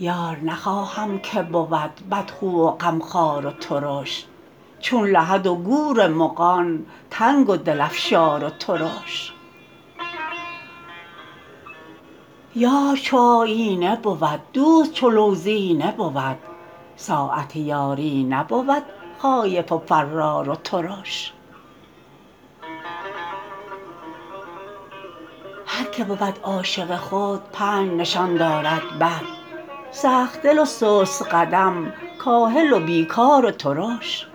یار نخواهم که بود بدخو و غمخوار و ترش چون لحد و گور مغان تنگ و دل افشار و ترش یار چو آیینه بود دوست چو لوزینه بود ساعت یاری نبود خایف و فرار و ترش هر کی بود عاشق خود پنج نشان دارد بد سخت دل و سست قدم کاهل و بی کار و ترش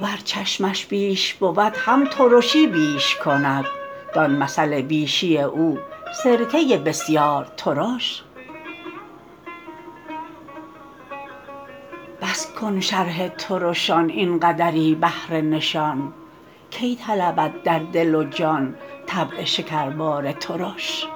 ور چشمش بیش بود هم ترشی بیش کند دان مثل بیشی او سرکه بسیار ترش بس کن شرح ترشان این قدری بهر نشان کی طلبد در دل و جان طبع شکربار ترش